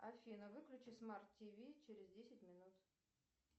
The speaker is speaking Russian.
афина выключи смарт тв через десять минут